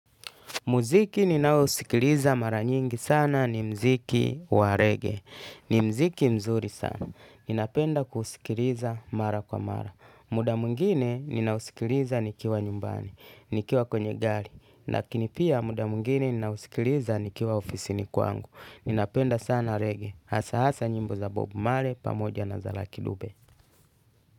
Mziki ninaousikiliza mara nyingi sana ni mziki wa reggae. Ni mziki mzuri sana. Ninapenda kusikiliza mara kwa mara. Muda mwingine ninausikiliza nikiwa nyumbani, nikiwa kwenye gari. Lakini pia muda mwingine ninausikiliza nikiwa ofisi ni kwangu. Ninapenda sana reggae. Hasa hasa nyimbo za bob marley pamoja na za luvky dube.